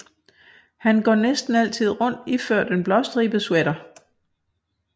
Han går næsten altid rundt iført en blåstribet sweater